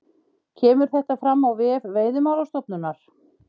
Kemur þetta fram á vef Veiðimálastofnunar